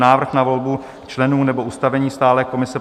Návrh na volbu členů nebo ustavení stálé komise